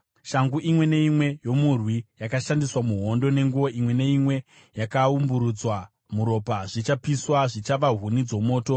Shangu imwe neimwe yomurwi yakashandiswa muhondo, nenguo imwe neimwe yakaumburudzwa muropa, zvichapiswa, zvichava huni dzomoto.